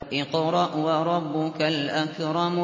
اقْرَأْ وَرَبُّكَ الْأَكْرَمُ